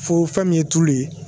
Fo fɛn min ye tulu ye